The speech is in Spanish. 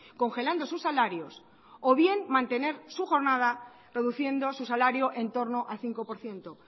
congelando sus salarios o bien mantener su jornada reduciendo su salario en torno al cinco por ciento